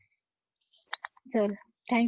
चल. Thank you.